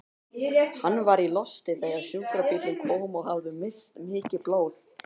Hann var í losti þegar sjúkrabíllinn kom og hafði misst mikið blóð.